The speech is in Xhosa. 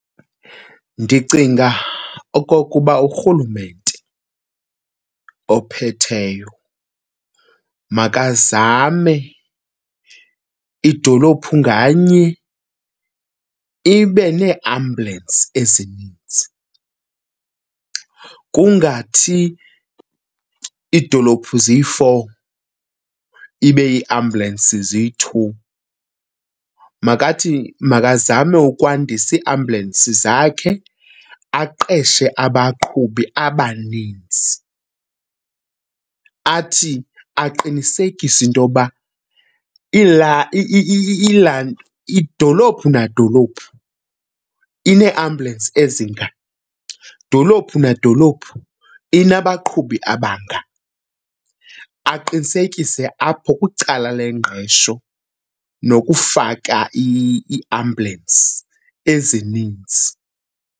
Ndicinga okokuba uRhulumente ophetheyo makazame idolophu nganye ibe neeambulensi ezininzi. Kungathi idolophu ziyi-four ibe iiambulensi ziyi-two. Makathi makazame ukwandisa iiambulensi zakhe aqeshe abaqhubi abaninzi. Athi aqinisekise into yokuba idolophu nadolophu ineeambulensi ezinga, dolophu nadolophu inabaqhubi abanga. Aqinisekise apho kwicala lengqesho nokufaka iiambulensi ezininzi.